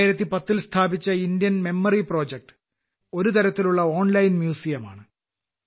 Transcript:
2010 ൽ സ്ഥാപിച്ച Indian memory project ഒരുതരത്തിലുള്ള ഓൺലൈൻ മ്യൂസിയം ആണ്